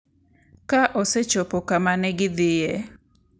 Ka osechopo kama ne gidhie,